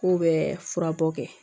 K'u bɛ furabɔ kɛ